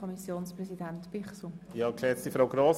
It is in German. Kommissionspräsident der FiKo.